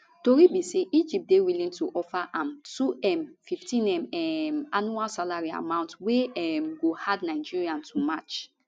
tori be say egypt dey willing to offer am 2m 15m um annual salary amount wey um go hard nigeria to match